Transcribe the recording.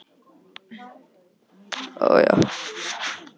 spurði Valdimar og hallaði sér fram á borðið til að heyra betur orðaskil.